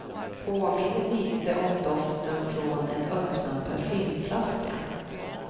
Påminner lite om doften från en öppnad parfymflaska.